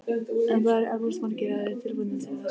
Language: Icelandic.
En það eru eflaust margir aðrir tilbúnir til þess.